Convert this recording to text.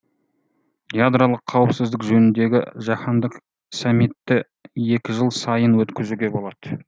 ядролық қауіпсіздік жөніндегі жаһандық саммитті екі жыл сайын өткізуге болады